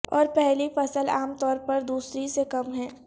اور پہلی فصل عام طور پر دوسری سے کم ہے